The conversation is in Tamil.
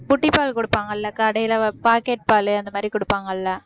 சில பேரெல்லாம் புட்டிப்பால் குடுப்பாங்கல்ல கடையில pocket பாலு அந்த மாதிரி குடுப்பாங்கல்ல